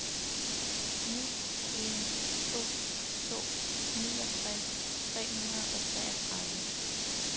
ni en to to niogtres tre hundrede og treogtredive